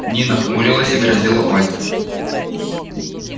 нина хмурилась и грозила пальцем